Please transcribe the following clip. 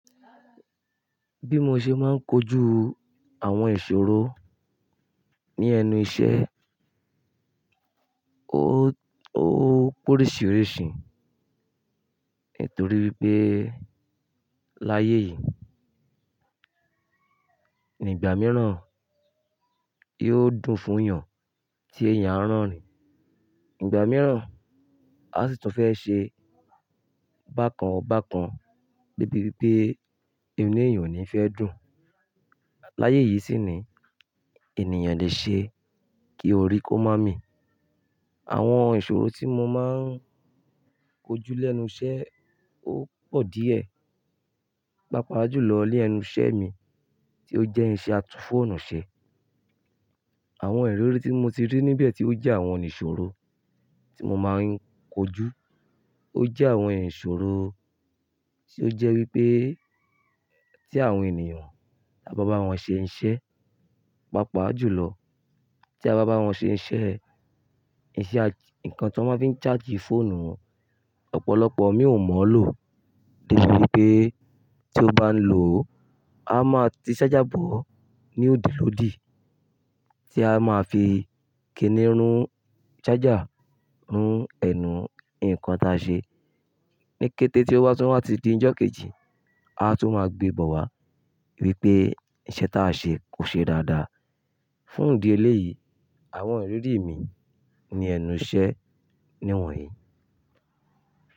Bí mo ṣe máa ń kojú àwọn ìṣòro ní ẹnu ìṣe, ó, ó pórìṣì oríṣì nítorí wípé láyé yìí, nígbà mìíràn yóò dùn fún yàn tí èèyàn á rán ni. Ìgbà mìíràn, a sì tún fẹ́ ṣe bákan bákan debi wipe pé inu èèyàn ò ní fẹ́ dùn. Láyé yìí sì ni ènìyàn olè ṣe kí orí kó má mí. Àwọn ìṣòro tí mo máa ń kojú lẹ́nu iṣẹ́ ó pọ̀ díẹ̀. Pápá jù lọ lé ẹnu iṣẹ́ mi tí ó jẹ́ iṣẹ́ àtúnfọ̀nu ṣẹ́. Àwọn ìrírí tí mo ti rí níbẹ̀ tí ó jẹ́ àwọn ìṣòro tí mo máa ń kojú, ó jẹ́ àwọn ìṣòro tí ó jẹ́ wípé tí àwọn ènìyàn ti a bá bá wọn ṣe iṣẹ́, pàápàá jùlọ tí a bá bá wọn ṣe iṣẹ́, ìṣe à-- nǹkan tí wọ́n máa fi ń charge fóònù, ọ̀pọ̀lọpọ̀ mi ò mọ̀ lò nítorí pé tí ó bá ń lò ó, a máa ti ṣájà bọ̀ ní òdìlódì tí a máa fi kíni run ṣájà, run ẹnu nǹkan tí a ṣe. Níkẹ́te tí ó ba tun wá tí di ìjọ́ kejì, a tún máa gbé bọ̀ wá wípé iṣẹ́ tí a ṣe kò ṣe dáadáa. Fún idì eléyìí, àwọn ìrírí mi ní ẹnu iṣẹ́ ni wọ̀nyí.